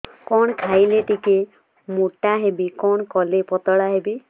କଣ ଖାଇଲେ ଟିକେ ମୁଟା ହେବି କଣ କଲେ ପତଳା ହେବି